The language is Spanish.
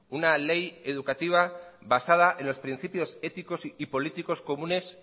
una ley educativa basada en los principios éticos y políticos comunes